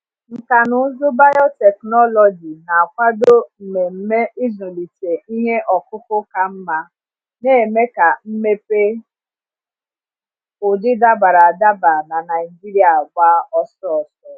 Nkà na ụzụ biotechnology na-akwado mmemme ịzụlite ihe ọkụkụ ka mma, na-eme ka mmepe ụdị dabara adaba na Naijiria gba ọsọ ọsọ.